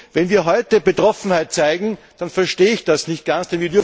Wenn wir heute Betroffenheit zeigen, dann verstehe ich das nicht ganz.